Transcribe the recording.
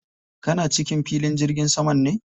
Kana cikin filin jirgin saman ne?